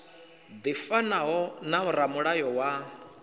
ḽi fanaho na ramulayo wa